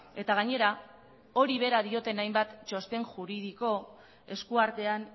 eta gainera hori bera dioten hainbat txosten juridiko eskuartean